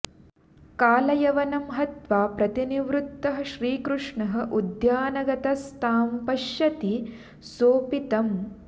कालयवनं हत्वा प्रतिनिवृत्तः श्रीकृष्ण उद्यानगतस्तां पश्यति सोऽपि तम्